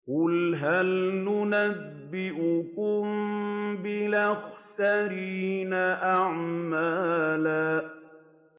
قُلْ هَلْ نُنَبِّئُكُم بِالْأَخْسَرِينَ أَعْمَالًا